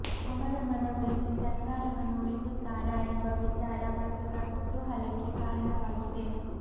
ಅವರ ಮನವೊಲಿಸಿ ಸರ್ಕಾರವನ್ನು ಉಳಿಸುತ್ತಾರ ಎಂಬ ವಿಚಾರ ಪ್ರಸ್ತುತ ಕುತೂಹಲಕ್ಕೆ ಕಾರಣವಾಗಿದೆ